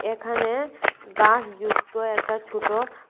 এখানে গাস যুক্ত একটা ছুটো--